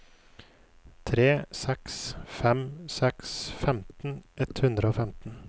tre seks fem seks femten ett hundre og femten